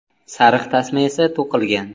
Sariq tasma esa to‘qilgan.